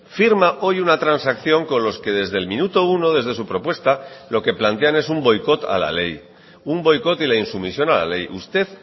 firma hoy una transacción con los que desde el minuto uno desde su propuesta lo que plantean es un boicot a la ley un boicot y la insumisión a la ley usted